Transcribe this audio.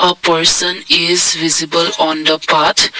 a person is visible on the path